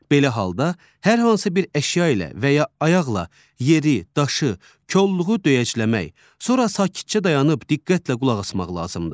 Belə halda hər hansı bir əşya ilə və ya ayaqla yeri, daşı, kolluğu döyəcləmək, sonra sakitcə dayanıb diqqətlə qulaq asmaq lazımdır.